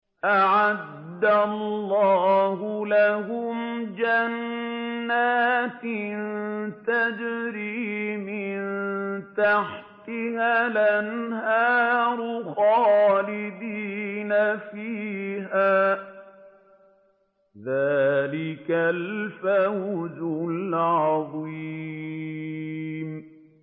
أَعَدَّ اللَّهُ لَهُمْ جَنَّاتٍ تَجْرِي مِن تَحْتِهَا الْأَنْهَارُ خَالِدِينَ فِيهَا ۚ ذَٰلِكَ الْفَوْزُ الْعَظِيمُ